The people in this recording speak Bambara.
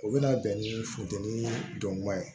U bɛna bɛn ni funteni dɔnni ye